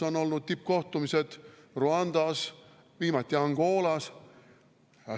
On olnud tippkohtumised Rwandas, viimati Angolas.